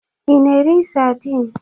Ị na-eri saidin?